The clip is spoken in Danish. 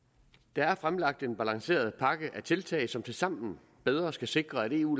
der er fremlagt en balanceret pakke af tiltag som tilsammen bedre skal sikre at eu